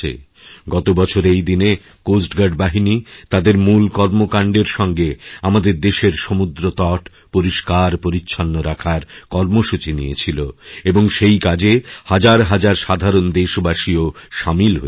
গত বছর এই দিনে কোস্ট গার্ড বাহিনী তাদের মূল কর্মকাণ্ডের সঙ্গে আমাদেরদেশের সমুদ্রতট পরিষ্কার পরিচ্ছন্ন রাখার কর্মসূচি নিয়েছিল এবং সেই কাজে হাজারহাজার সাধারণ দেশবাসীও সামিল হয়েছিলেন